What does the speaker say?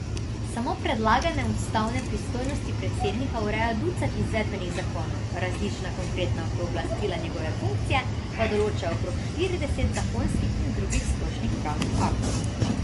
Samo predlagalne ustavne pristojnosti predsednika ureja ducat izvedbenih zakonov, različna konkretna pooblastila njegove funkcije pa določa okrog štirideset zakonskih in drugih splošnih pravnih aktov.